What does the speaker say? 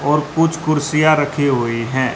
और कुछ कुर्सियां रखी हुई हैं।